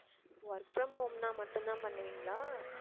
work from home னா மட்டும் தான் பண்ணுவிங்களா